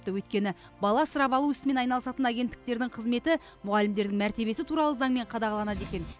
өйткені бала асырап алу ісімен айналысатын агенттіктердің қызметі мұғалімдердің мәртебесі туралы заңмен қадағаланады екен